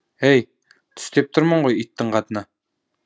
әй түс деп тұрмын ғой иттің қатыны